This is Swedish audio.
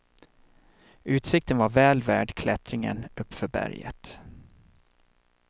Utsikten var väl värd klättringen uppför berget.